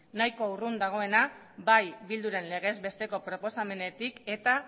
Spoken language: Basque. nahiko urrun dagoena bai bilduren legez besteko proposamenetik eta